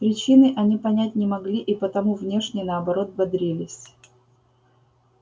причины они понять не могли и потому внешне наоборот бодрились